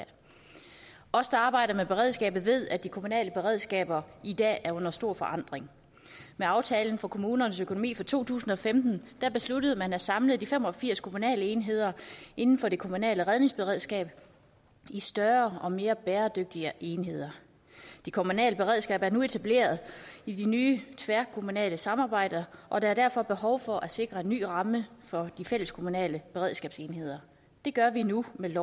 af os der arbejder med beredskabet ved at de kommunale beredskaber i dag er under stor forandring med aftalen for kommunernes økonomi for to tusind og femten besluttede man at samle de fem og firs kommunale enheder inden for det kommunale redningsberedskab i større og mere bæredygtige enheder det kommunale beredskab er nu etableret i de nye tværkommunale samarbejder og der er derfor behov for at sikre en ny ramme for de fælleskommunale beredskabsenheder det gør vi nu med